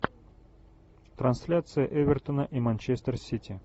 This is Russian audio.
трансляция эвертона и манчестер сити